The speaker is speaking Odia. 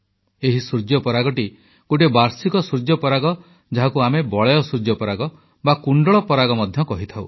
ଏହି ସୂର୍ଯ୍ୟ ପରାଗଟି ଗୋଟିଏ ବାର୍ଷିକ ସୂର୍ଯ୍ୟପରାଗ ଯାହାକୁ ଆମେ ବଳୟ ସୂର୍ଯ୍ୟପରାଗ ବା କୁଣ୍ଡଳ ପରାଗ ମଧ୍ୟ କହିଥାଉ